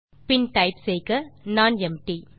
பின் type செய்க nonempty